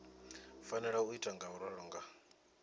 fanela u ita ngauralo nga